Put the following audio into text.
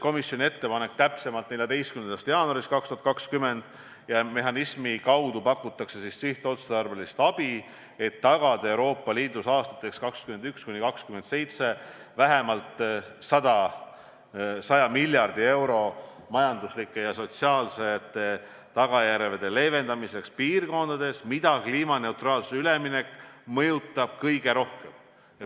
Komisjon tegi 14. jaanuaril 2020 ettepaneku, et selle mehhanismi kaudu hakatakse pakkuma sihtotstarbelist abi, tagades Euroopa Liidus aastateks 2021–2027 vähemalt 100 miljardit eurot majanduslike ja sotsiaalsete tagajärgede leevendamiseks piirkondades, mida kliimaneutraalsusele üleminek mõjutab kõige rohkem.